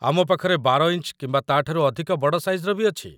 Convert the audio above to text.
ଆମ ପାଖରେ ୧୨ ଇଞ୍ଚ କିମ୍ବା ତା'ଠାରୁ ଅଧିକ ବଡ଼ ସାଇଜ୍‌‌ର ବି ଅଛି ।